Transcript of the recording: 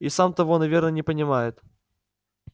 и сам того наверное не понимает